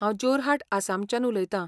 हांव जोरहाट आसामाच्यान उलयता.